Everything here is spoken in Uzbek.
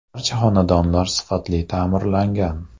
Barcha xonadonlar sifatli ta’mirlangan.